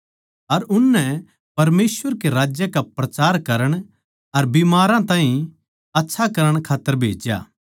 अर उननै परमेसवर कै राज्य का प्रचार करण अर बीमारां ताहीं आच्छा करण खात्तर भेज्या